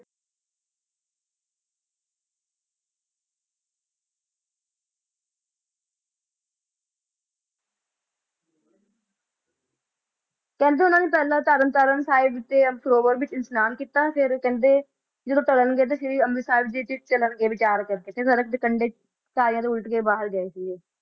ਉਨਾ ਪਹਿਲਾ ਤਰਨਤਾਰਨ ਸਾਹਿਬ ਵਿੱਚ ਇਸ਼ਨਾਨ ਕੀਤਾ ਤੇ ਫਿਰ ਕਹਿੰਦੇ ਜਦੋ ਤਰਨਗੇ ਅੰਮ੍ਰਿਤਸਰ ਜੀ ਦੀ ਚਲਣ ਗੇ ਤੇ ਵਿਚਾਰ ਕਰਨ ਗੇ ਸੜਕ 'ਤੇ ਕੰਡੇ ਕਾਲੀਆ ਤੋ ਉਲਟ ਕੇ ਬਾਹਰ ਗਏ ਛਨ